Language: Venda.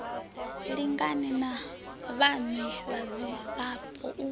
lingane na vhaṋwe vhadzulapo u